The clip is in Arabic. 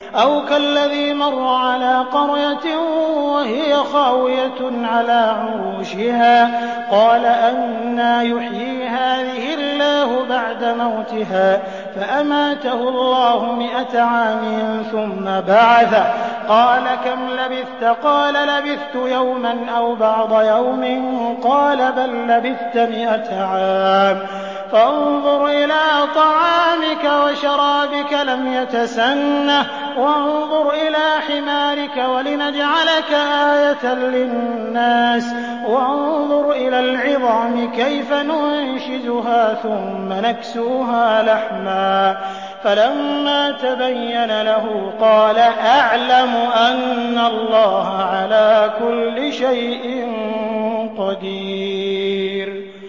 أَوْ كَالَّذِي مَرَّ عَلَىٰ قَرْيَةٍ وَهِيَ خَاوِيَةٌ عَلَىٰ عُرُوشِهَا قَالَ أَنَّىٰ يُحْيِي هَٰذِهِ اللَّهُ بَعْدَ مَوْتِهَا ۖ فَأَمَاتَهُ اللَّهُ مِائَةَ عَامٍ ثُمَّ بَعَثَهُ ۖ قَالَ كَمْ لَبِثْتَ ۖ قَالَ لَبِثْتُ يَوْمًا أَوْ بَعْضَ يَوْمٍ ۖ قَالَ بَل لَّبِثْتَ مِائَةَ عَامٍ فَانظُرْ إِلَىٰ طَعَامِكَ وَشَرَابِكَ لَمْ يَتَسَنَّهْ ۖ وَانظُرْ إِلَىٰ حِمَارِكَ وَلِنَجْعَلَكَ آيَةً لِّلنَّاسِ ۖ وَانظُرْ إِلَى الْعِظَامِ كَيْفَ نُنشِزُهَا ثُمَّ نَكْسُوهَا لَحْمًا ۚ فَلَمَّا تَبَيَّنَ لَهُ قَالَ أَعْلَمُ أَنَّ اللَّهَ عَلَىٰ كُلِّ شَيْءٍ قَدِيرٌ